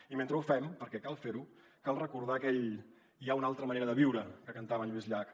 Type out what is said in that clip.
i mentre ho fem perquè cal fer ho cal recordar aquell hi ha una altra manera de viure que cantava en lluís llach